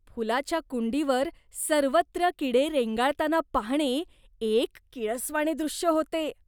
फुलाच्या कुंडीवर सर्वत्र किडे रेंगाळताना पाहणे एक किळसवाणे दृश्य होते.